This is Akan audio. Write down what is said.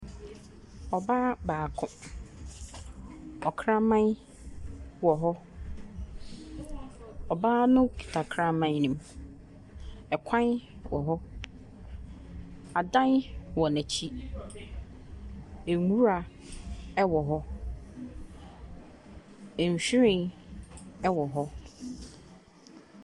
Ɔbaa baako. Ɔkraman wɔhɔ. Ɔbaa no kita kraman nim. Ɛkwan wɔhɔ. Adan wɔ n'akyi. Nwura ɛwɔ hɔ. Nwhiren ɛwɔ hɔ.